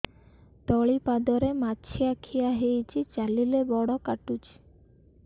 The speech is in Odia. ତଳିପାଦରେ ମାଛିଆ ଖିଆ ହେଇଚି ଚାଲିଲେ ବଡ଼ କାଟୁଚି